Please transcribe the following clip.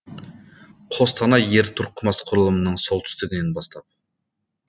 қостанай ер тұрқымас құрылымының солтүстігінен бастап